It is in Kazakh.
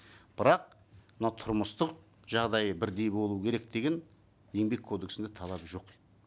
бірақ мынау тұрмыстық жағдайы бірдей болу керек деген еңбек кодексінде талап жоқ